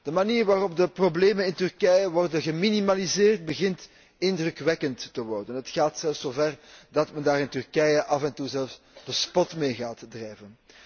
De manier waarop de problemen in Turkije worden geminimaliseerd, begint indrukwekkend te worden. Het gaat zelfs zó ver dat men daar in Turkije af en toe zelfs de spot mee gaat drijven.